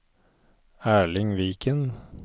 Erling Viken